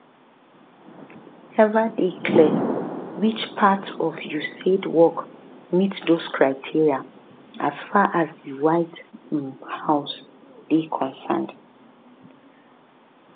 e neva dey clear which um parts of usaid work meet those criteria as far as di white um house dey concerned